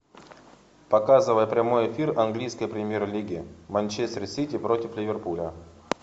показывай прямой эфир английской премьер лиги манчестер сити против ливерпуля